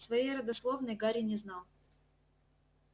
своей родословной гарри не знал